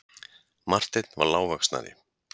Marteinn var lágvaxnari.